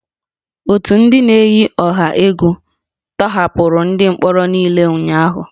Otu ndị na-eyi ọha egwu tọhapụrụ ndị mkpọrọ niile ụnyahụ